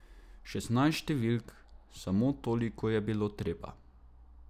Šestnajst številk, samo toliko je bilo treba.